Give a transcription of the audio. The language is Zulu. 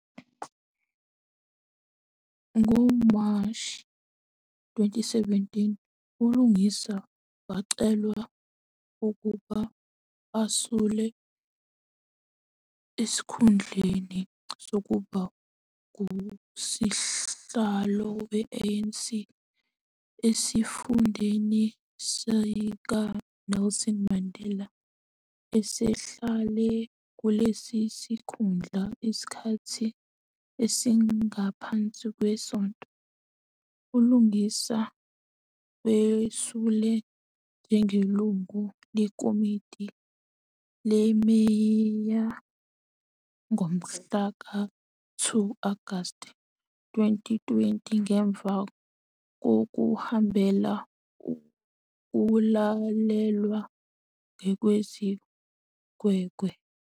NgoMashi 2017, uLungisa wacelwa ukuba asule esikhundleni sokuba nguSihlalo we-ANC esifundeni sikaNelson Mandela esehlale kulesi sikhundla isikhathi esingaphansi kwesonto. ULungisa wesule njengelungu leKomidi leMeya ngomhlaka 2 Agasti 2020 ngemuva kokuhambela ukulalelwa kwezigwegwe.